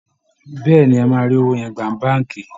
Bẹ́ẹ̀ ni, ẹ máa rí owó yẹn gbà ní Báǹkì